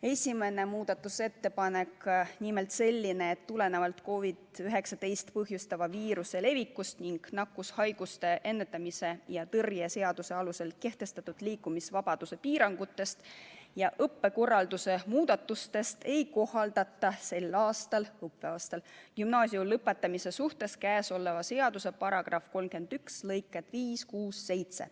Esimene muudatusettepanek oli selline, et tulenevalt COVID-19 põhjustava viiruse levikust ning nakkushaiguste ennetamise ja tõrje seaduse alusel kehtestatud liikumisvabaduse piirangutest ja õppekorralduse muudatustest ei kohaldata sel õppeaastal gümnaasiumi lõpetamise suhtes käesoleva seaduse § 31 lõikeid 5, 6 ja 7.